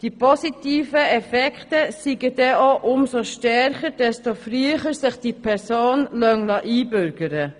Die positiven Effekte seien denn auch umso stärker, desto früher sich die Person einbürgern liesse.